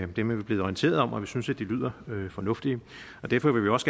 dem er vi blevet orienteret om og vi synes at de lyder fornuftigt derfor vil vi også